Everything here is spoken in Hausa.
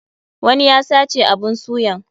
Wani ya sace abun suyan.